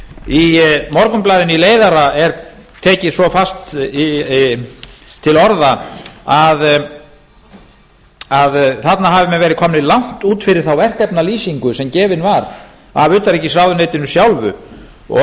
í morgunblaðinu í leiðara er tekið svo fast til orða að þarna hafi menn verið komnir langt út fyrir þá verkefnalýsingu sem gefin var af utanríkisráðuneytinu og